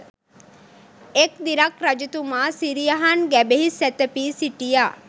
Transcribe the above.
එක් දිනක් රජතුමා සිරියහන් ගැබෙහි සැතැපී සිටියා